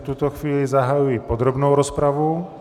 V tuto chvíli zahajuji podrobnou rozpravu.